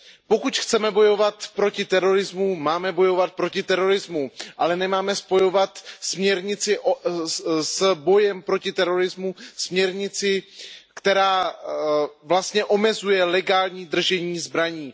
Pokud chceme bojovat proti terorismu, máme bojovat proti terorismu, ale nemáme spojovat směrnici s bojem proti terorismu, směrnici, která vlastně omezuje legální držení zbraní.